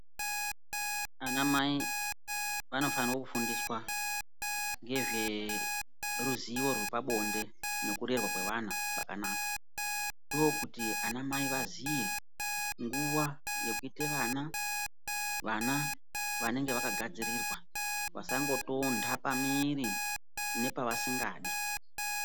Anamai vanofanirwa kufundiswa ngezveruziwo rwepabonde nekurerwa kweana kwakanaka. Ndokuti anamai aziye nguwa yekuita vana, vana vanenge vakagadzirirwa vasangotonta pamiri nepaasingadi.